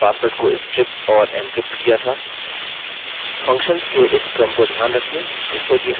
functions के इस क्रम को ध्यान रखिये जिससे कि हम अपने एन्क्रिप्टेड वैल्यू को स्ट्रिप ऑफ़ न करें